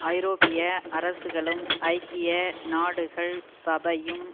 ஐரோப்பிய அரசுகளும் ஐக்கிய நாடுகள் சபையும்